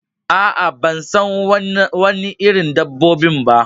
Aa, ban san Wani irin dabbobin ba.